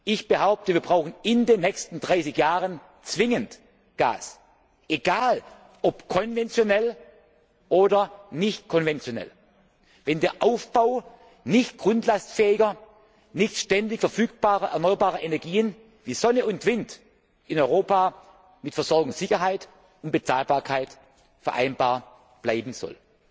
Ich behaupte, wir brauchen in den nächsten 30 Jahren zwingend Gas egal ob konventionell oder nicht konventionell, wenn der Aufbau nicht grundlastfähiger, nicht ständig verfügbarer erneuerbarer Energien wie Sonne und Wind in Europa mit Versorgungssicherheit und Bezahlbarkeit vereinbar bleiben soll.